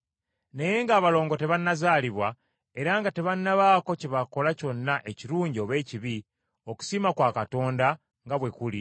Naye ng’abalongo tebannazaalibwa, era nga tebannabaako kye bakola kyonna ekirungi oba ekibi, okusiima kwa Katonda nga bwe kuli,